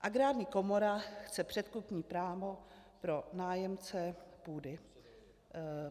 Agrární komora chce předkupní právo pro nájemce půdy."